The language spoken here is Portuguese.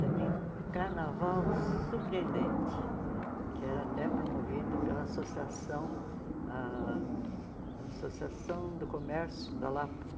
Também um carnaval surpreendente, que era até promovido pela Associação ah Associação do Comércio da Lapa.